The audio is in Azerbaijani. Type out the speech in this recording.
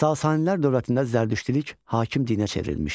Sasanilər dövlətində zərdüştülük hakim dinə çevrilmişdi.